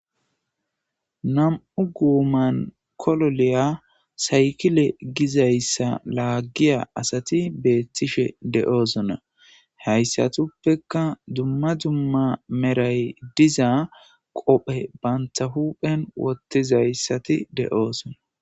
Na'mu goman kololiya sayikile gizayisa lagiya asati betishe de'osona hesatappeka duma duma merayi diza qophe banta huphen wotizayisati de'osona